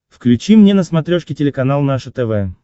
включи мне на смотрешке телеканал наше тв